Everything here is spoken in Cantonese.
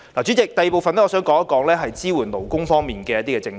主席，第二部分，我想談談支援勞工方面的政策。